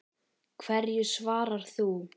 Hverju svarar þú?